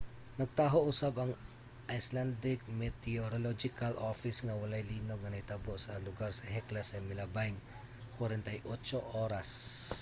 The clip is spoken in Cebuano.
nagtaho usab ang icelandic meteorological office nga walay linog nga nahitabo sa lugar sa hekla sa milabayng 48 oras